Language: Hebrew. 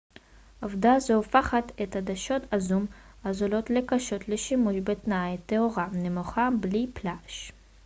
עובדה זו הופכת את עדשות הזום הזולות לקשות לשימוש בתנאי תאורה נמוכה בלי פלאש